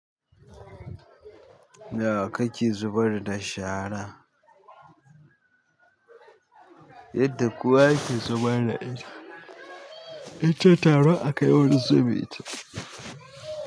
Nawa ka ke zubar da shara? Yadda kuwa kowa yake zubar da ita? In tara a kai wani zubeta.